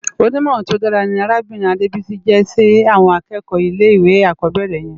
Ónimòrán tó dàrá ni Arábirin Adebisi jè si àwòn ákèékò ilé iwé ákòbèrè yèn